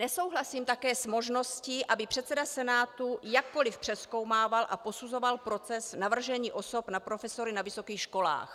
Nesouhlasím také s možností, aby předseda Senátu jakkoli přezkoumával a posuzoval proces navržení osob na profesory na vysokých školách.